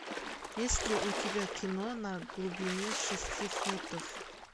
есть ли у тебя кино на глубине шести футов